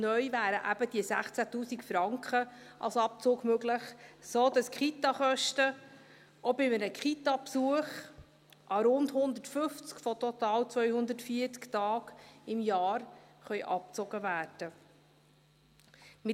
Neu wären eben diese 16’000 Franken als Abzug möglich, sodass die Kitakosten auch bei einem Kitabesuch an rund 150 von total 240 Tagen im Jahr abgezogen werden können.